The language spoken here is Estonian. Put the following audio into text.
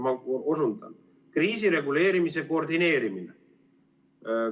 Ma osundan: kriisireguleerimise koordineerimine.